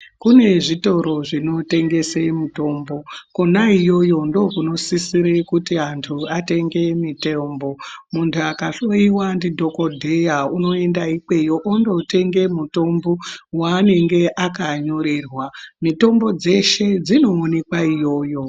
Kune zvitoro zvinotengese mutombo kona iyoyo ndiko kunosisira kuti antu atenge mutombo muntu akahloiwa ndidhokodheya unoenda ikweyo ondotenge mitombo waanenge akanyorerwa. mitombo dzeshe dzinoonekwa iyoyo.